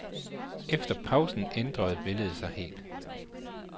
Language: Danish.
Efter pausen ændrede billedet sig helt.